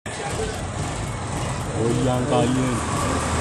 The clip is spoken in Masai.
Ore eramatare oo nkineji naa kiyoloti oleng too nkwapi natii olameyu.